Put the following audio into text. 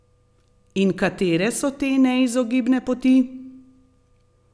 In katere so te neizogibne poti?